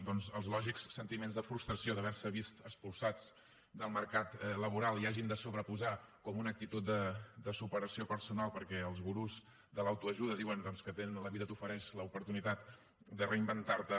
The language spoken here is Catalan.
doncs que als lògics sentiments de frustració d’haver se vist expulsats del mercat laboral hi hagin de sobreposar com una actitud de superació personal perquè els gurus de l’autoajuda diuen que la vida t’ofereix l’oportunitat de reinventar te